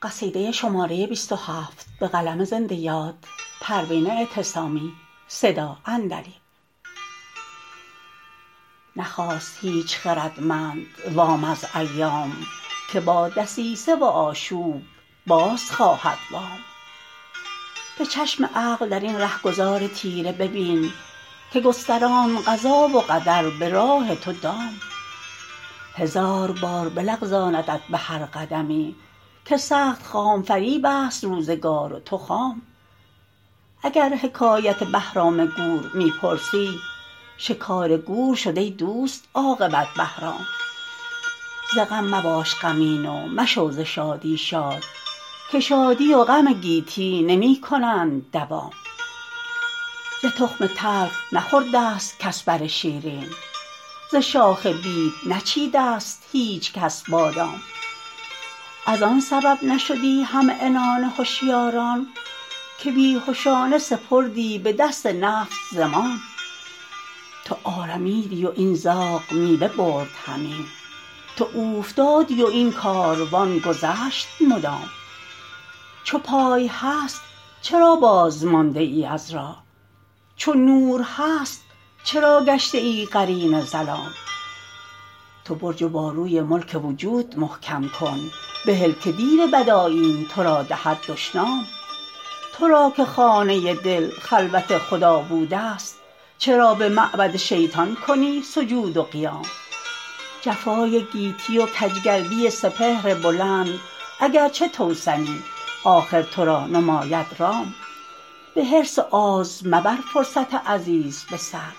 نخواست هیچ خردمند وام از ایام که با دسیسه و آشوب باز خواهد وام به چشم عقل درین رهگذار تیره ببین که گستراند قضا و قدر به راه تو دام هزار بار بلغزاندت به هر قدمی که سخت خام فریبست روزگار و تو خام اگر حکایت بهرام گور می پرسی شکار گور شد ای دوست عاقبت بهرام ز غم مباش غمین و مشو ز شادی شاد که شادی و غم گیتی نمیکنند دوام ز تخم تلخ نخورد است کس بر شیرین ز شاخ بید نچید است هیچکس بادام از آن سبب نشدی همعنان هشیاران که بیهشانه سپردی بدست نفس زمام تو آرمیدی و این زاغ میوه برد همی تو اوفتادی و این کاروان گذشت مدام چو پای هست چرا باز مانده ای از راه چو نور هست چرا گشته ای قرین ظلام تو برج و باروی ملک وجود محکم کن بهل که دیو بد آیین ترا دهد دشنام ترا که خانه دل خلوت خدا بود است چرا بمعبد شیطان کنی سجود و قیام جفای گیتی و کجگردی سپهر بلند اگرچه توسنی آخر ترا نماید رام بحرص و آز مبر فرصت عزیز بسر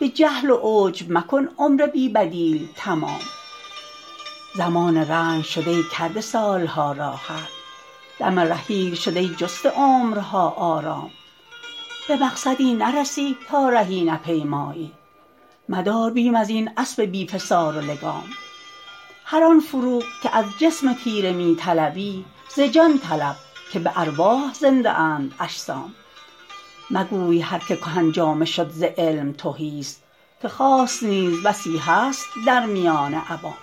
بجهل و عجب مکن عمر بی بدیل تمام زمان رنج شد ای کرده سالها راحت دم رحیل شد ای جسته عمرها آرام بمقصدی نرسی تا رهی نپیمایی مدار بیم ازین اسب بی فسار و لگام هر آن فروغ که از جسم تیره میطلبی ز جان طلب که بارواح زنده اند اجسام مگوی هر که کهن جامه شد ز علم تهیست که خاص نیز بسی هست در میان عوام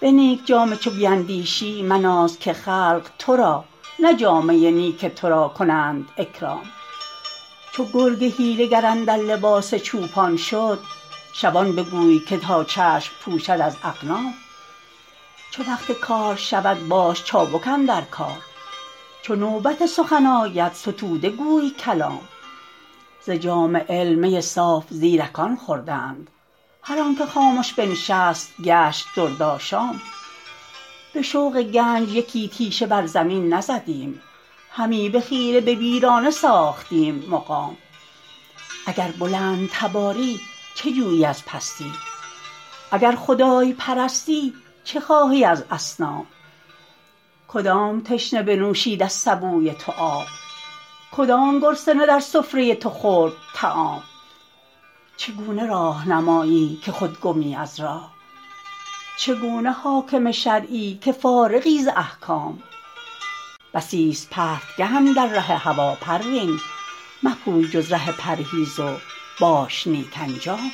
به نیک جامه چو بیدانشی مناز که خلق ترا نه جامه نیک ترا کنند اکرام چو گرگ حیله گر اندر لباس چوپان شد شبان بگوی که تا چشم پوشد از اغنام چو وقت کار شود باش چابک اندر کار چو نوبت سخن آید ستوده گوی کلام ز جام علم می صاف زیرکان خوردند هر آنکه خامش بنشست گشت درد آشام بشوق گنج یکی تیشه بر زمین نزدیم همی بخیره به ویرانه ساختیم مقام اگر بلند تباری چه جویی از پستی اگر خدای پرستی چه خواهی از اصنام کدام تشنه بنوشید از سبوی تو آب کدام گرسنه در سفره تو خورد طعام چگونه راهنمایی که خود گمی از راه چگونه حاکم شرعی که فارغی ز احکام بسی است پرتگه اندر ره هوی پروین مپوی جز ره پرهیز و باش نیک انجام